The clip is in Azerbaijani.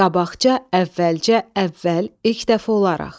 Qabaqca, əvvəlcə, əvvəl, ilk dəfə olaraq.